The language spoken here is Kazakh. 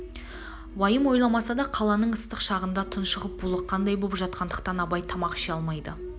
уайым ойламаса да қаланың ыстық шағында тұншығып булыққандай боп жатқандықтан абай тамақ ше алмайды